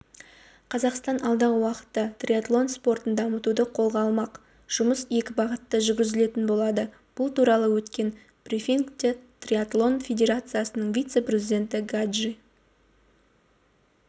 қазақстан алдағы уақытта триатлон спортын дамытуды қолға алмақ жұмыс екі бағытта жүргізілетін болады бұл туралы өткен брифингте триатлон федерациясының вице-президенті гаджи